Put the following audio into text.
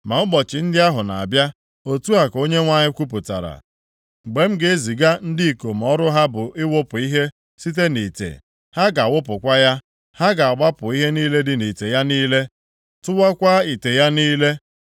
Ma ụbọchị ndị ahụ na-abịa,” otu a ka Onyenwe anyị kwupụtara, “mgbe m ga-eziga ndị ikom ọrụ ha bụ ịwụpụ ihe site nʼite, + 48:12 Ịwụgharị ihe site nʼotu ite wụbanye ya nʼọzọ ha ga-awụpụkwa ya. Ha ga-agbapụ ihe niile dị nʼite ya niile, tụwakwaa ite ya niile.